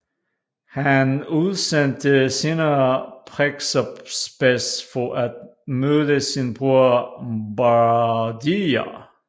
Han udsendte senere Prexaspes for at myrde sin bror Bardiya